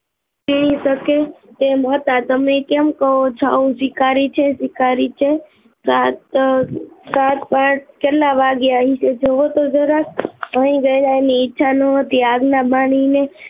તારી શકે એમ ન હતા, તમે આમ કહી શકો કે ભિખારી છે ભિખારી છે સાત પટ અહીં કેટલા વાગ્યા જોવો તો જરાક આજ ના માનવી ને